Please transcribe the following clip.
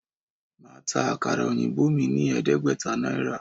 Màá ta àkàrà òyìnbó mí ní ẹ̀ẹ́dẹ́gbẹ̀ta Náírà